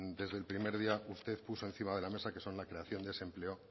desde el primer día usted puso encima de la mesa que son la creación de ese empleo